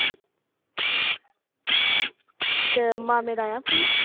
ਤੇ ਮਾਮੇ ਦਾ ਆਇਆ ਫੋਨ?